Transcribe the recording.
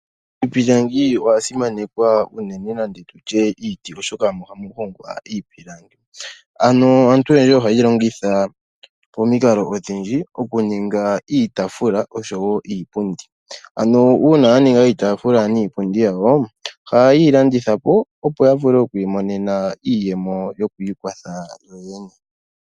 Iipundi oya simaneka unene nande tu tye iiti, oshoka omo hamu hongwa iipilangi . Ano aantu oyendji ohaye yi longitha pomikalo odhindji okuninga iitafula oshowo iipundi . Ano uuna wa ninga iitafula niipundi yawo ohaye yi landitha po, opo ya vule oku imonena iiyemo yoku ikwatha yo yene.